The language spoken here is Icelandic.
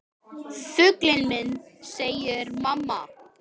Fuglinn minn, segir mamma.